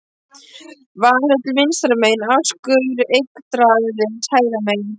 Valhöll vinstra megin, askur Yggdrasils hægra megin.